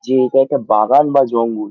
যে এটা একটা বাগান বা জঙ্গল।